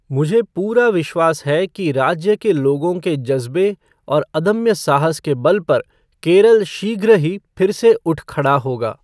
मुझे पूरा विश्वास है कि राज्य के लोगों के जज़्बे और अदम्य साहस के बल पर केरल शीघ्र ही फिर से उठ खड़ा होगा।